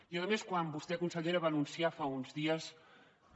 i a més quan vostè consellera va anunciar fa uns dies que